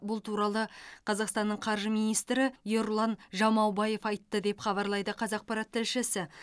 бұл туралы қазақстанның қаржы министрі ерұлан жамаубаев айтты деп хабарлайды қазақпарат тілшісі